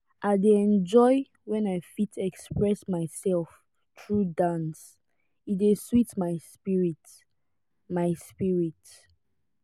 i dey enjoy when i fit express myself through dance e dey sweet my spirit. my spirit.